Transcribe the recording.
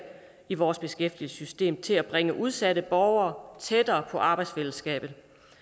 i vores beskæftigelsessystem til at bringe udsatte borgere tættere på arbejdsfællesskabet